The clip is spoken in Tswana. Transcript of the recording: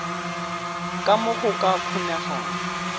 ka mo go ka kgonegang